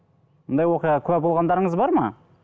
ондай оқиғаға куә болғандарыңыз бар ма